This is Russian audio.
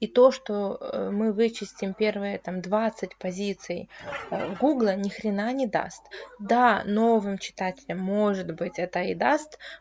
и то что мы вычистим первые там двадцать позиций гугла ни хрена не даст да новым читателям может быть это и даст